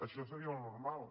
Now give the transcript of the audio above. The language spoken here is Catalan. això seria el normal